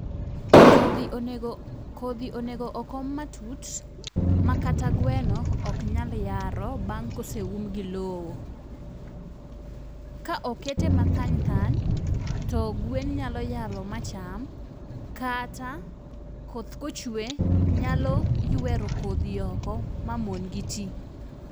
kodhi onego kodhi onego okom matut ma kata mana gweno ok nyal yaro bang' koseum gi lowo . Ka okete mathany thany , to gwen nyalo yaro macham kata koth kochwe, nyalo ywero kodhi oko ma mon'gi tii.